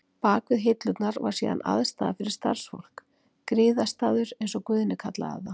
Bak við hillurnar var síðan aðstaða fyrir starfsfólk, griðastaður, eins og Guðni kallaði það.